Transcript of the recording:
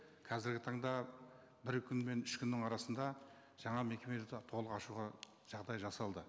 қазіргі таңда бір күн мен үш күннің арасында жаңа мекеме толық ашуға жағдай жасалды